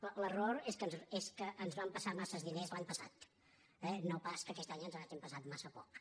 però l’error és que ens van passar massa diners l’any passat no pas que aquest anys ens n’hagin passat massa pocs